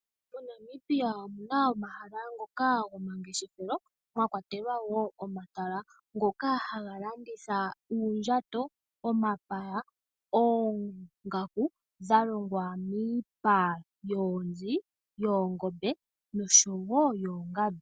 MoNamibia omu na omahala ngoka gomangeshefelo, mwa kwatelwa wo omatala ngoka haga landitha uundjato, omapaya, oongaku dha longwa miipa yoonzi, yoongombe, nosho wo yoongandu.